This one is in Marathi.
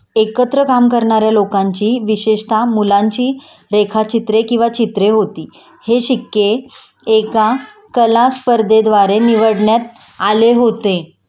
एकत्र काम करणाऱ्या लोकांची विशेषतः मुलांची रेखाचित्रे किंवा चित्रे होती.हे शिक्के एका कला स्पर्धेद्वारे निवडण्यात आले होते